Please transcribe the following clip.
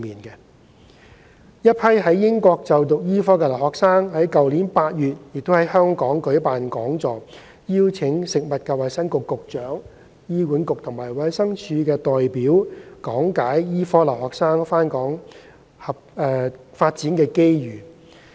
一批在英國就讀醫科的留學生於去年8月在香港舉辦講座，邀請食物及衞生局局長、醫管局及衞生署的代表講解醫科留學生回港發展的機遇。